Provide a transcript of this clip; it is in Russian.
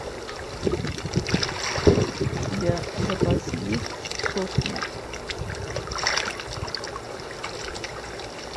у тебя в запасе есть сосны